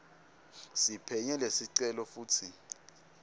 siphenye lesicelo futsi